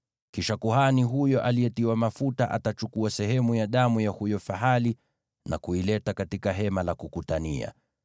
Kisha kuhani huyo aliyetiwa mafuta atachukua sehemu ya damu ya huyo fahali na kuileta katika Hema la Kukutania.